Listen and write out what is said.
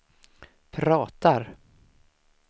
pratar